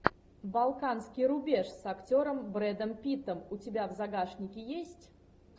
балканский рубеж с актером брэдом питтом у тебя в загашнике есть